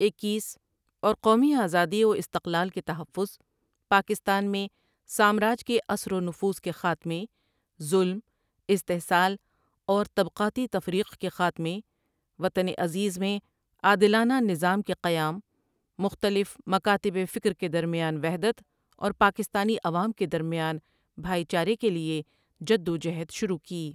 اکیس اور قومی آزادی و استقلال کے تحفظ، پاکستان میں سامراج کے اثر ونفوذ کے خاتمے، ظلم، استحصال اور طبقاتی تفریق کے خاتمے، وطن عزیز میں عادلانہ نظام کے قیام، مختلف مکاتب فکر کے درمیان وحدت اور پاکستانی عوام کے درمیان بھائی چارے کے لئے جدوجہد شروع کی ۔